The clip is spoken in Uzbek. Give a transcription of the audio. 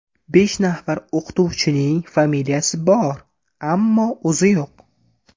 Besh nafar o‘qituvchining familiyasi bor, ammo o‘zi yo‘q.